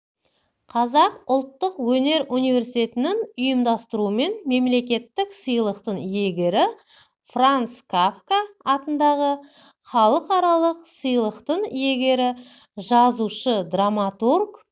қазақ ұлттық өнер университетінің ұйымдастыруымен мемлекеттік сыйлықтың иегері франс кафка атындағы халықаралық сыйлықтың иегері жазушы драматург